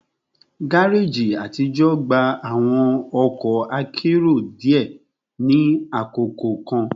Gareji atijọ gba awọn ọkọ akero diẹ ni akoko kan